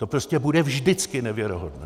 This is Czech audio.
To prostě bude vždycky nevěrohodné.